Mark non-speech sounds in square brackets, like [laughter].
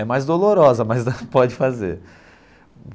É mais dolorosa, mas [laughs] pode fazer.